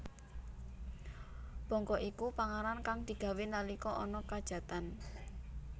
Bongko iku panganan kang digawé nalika ana khajatan